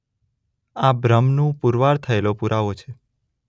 આ બ્રહ્મનું પુરવાર થયેલો પુરાવો છે.